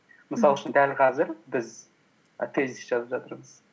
мысал үшін дәл қазір біз і тезис жазып жатырмыз